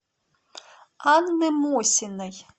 анны мосиной